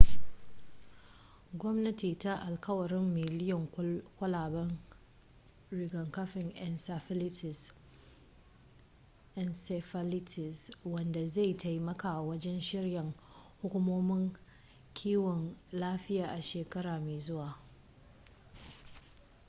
gwamnati ta alkawarin miliyoyin kwalaben rigakafin encephalitis wanda zai taimaka wajen shirya hukumomin kiwon lafiya a shekara mai zuwa